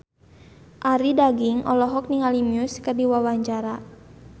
Arie Daginks olohok ningali Muse keur diwawancara